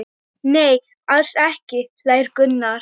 Nei, alls ekki hlær Gunnar.